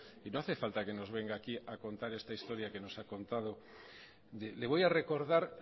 y no hace falta que nos venga aquí a contar esta historia que nos ha contado le voy a recordar